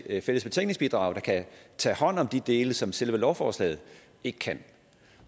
et fælles betænkningsbidrag der kan tage hånd om de dele som selve lovforslaget ikke kan